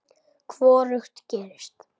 Hvorugt gerist.